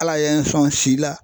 Ala ye n sɔn si la